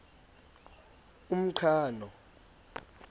umqhano